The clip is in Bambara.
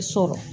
Sɔrɔ